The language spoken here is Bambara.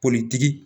Politigi